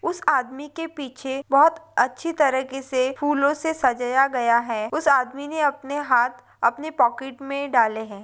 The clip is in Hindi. उस आदमी के पीछे बहुत अच्छे तरीकेसे फूलोसे सजाया गया है उस आदमी ने उसके हात अपने पॉकेट में डाले है।